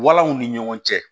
Walanw ni ɲɔgɔn cɛ